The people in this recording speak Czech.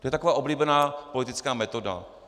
To je taková oblíbená politická metoda.